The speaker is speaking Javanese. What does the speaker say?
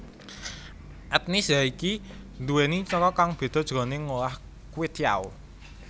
Etnis yaiki nduwèni cara kang beda jroning ngolah kwetiau